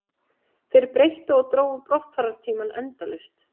Þeir breyttu og drógu brottfarartímann endalaust